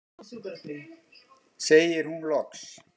segir hún loks.